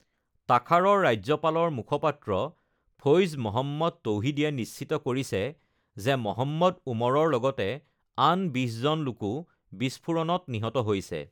তাখাৰৰ ৰাজ্যপালৰ মুখপাত্ৰ ফৈজ মহম্মদ তৌহিদীয়ে নিশ্চিত কৰিছে যে মহম্মদ ওমৰৰ লগতে আন বিশজন লোকো বিস্ফোৰণত নিহত হৈছে।